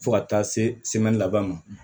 Fo ka taa se laban ma